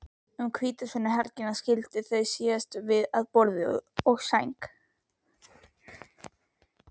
Um hvítasunnuhelgina skildum við síðan að borði og sæng.